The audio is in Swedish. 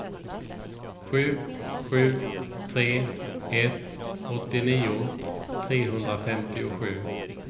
sju sju tre ett åttionio trehundrafemtiosju